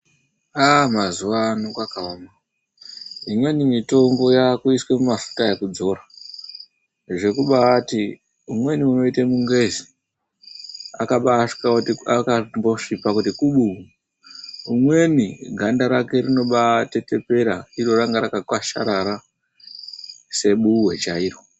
Mazuva ano kwakaoma. Imweni mitombo yakuiswa mafuta ekudzora, zvekubaati umweni unoita mungwezho akangosviba kuti kubu. Umweni ganda rake rinotetepera iro ranga rakakwasharara sebuwe chairo.